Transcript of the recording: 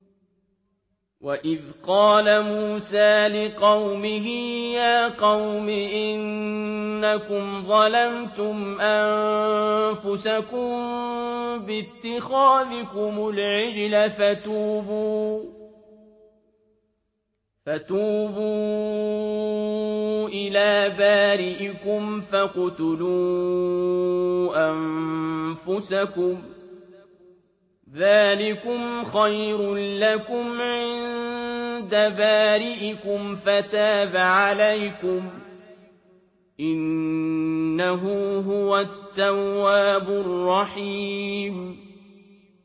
وَإِذْ قَالَ مُوسَىٰ لِقَوْمِهِ يَا قَوْمِ إِنَّكُمْ ظَلَمْتُمْ أَنفُسَكُم بِاتِّخَاذِكُمُ الْعِجْلَ فَتُوبُوا إِلَىٰ بَارِئِكُمْ فَاقْتُلُوا أَنفُسَكُمْ ذَٰلِكُمْ خَيْرٌ لَّكُمْ عِندَ بَارِئِكُمْ فَتَابَ عَلَيْكُمْ ۚ إِنَّهُ هُوَ التَّوَّابُ الرَّحِيمُ